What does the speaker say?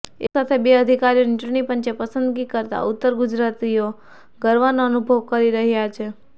એક સાથે બે અધિકારીઓની ચુંટણીપંચે પસંદગી કરતા ઉત્તર ગુજરાતવાસીઓ ગર્વનો અનુભવ કરી રહ્યા છે